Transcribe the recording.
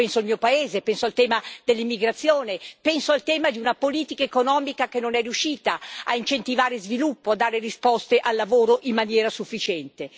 Io penso al mio paese, penso al tema dell'immigrazione, penso al tema di una politica economica che non è riuscita a incentivare lo sviluppo, a dare risposte al lavoro in maniera sufficiente.